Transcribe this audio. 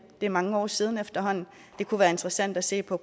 det er mange år siden efterhånden det kunne være interessant at se på